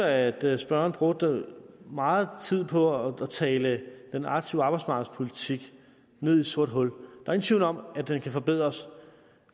at spørgerne brugte meget tid på at tale den aktive arbejdsmarkedspolitik ned i et sort hul der er ingen tvivl om at den kan forbedres